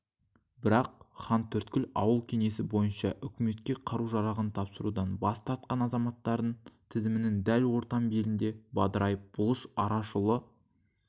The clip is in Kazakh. бірақ хантөрткіл ауыл кеңесі бойынша үкіметке қару-жарағын тапсырудан бас тартқан азаматтардың тізімінің дәл ортан белінде бадырайып бұлыш арашұлы